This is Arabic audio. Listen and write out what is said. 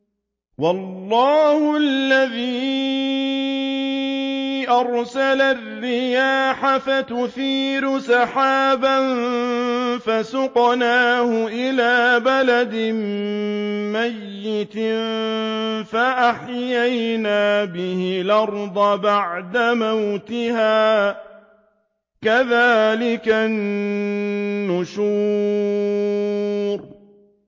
وَاللَّهُ الَّذِي أَرْسَلَ الرِّيَاحَ فَتُثِيرُ سَحَابًا فَسُقْنَاهُ إِلَىٰ بَلَدٍ مَّيِّتٍ فَأَحْيَيْنَا بِهِ الْأَرْضَ بَعْدَ مَوْتِهَا ۚ كَذَٰلِكَ النُّشُورُ